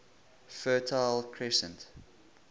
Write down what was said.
fertile crescent